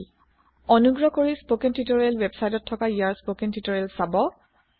অনগ্ৰহ কৰি spoken tutorial ৱেবচাইতত থকা ইয়াৰ স্পকেন তিওতৰিয়েল চাব